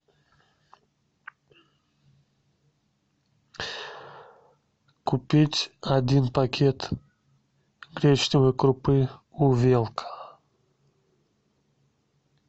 купить один пакет гречневой крупы увелка